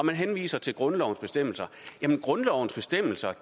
man henviser til grundlovens bestemmelser jamen grundlovens bestemmelser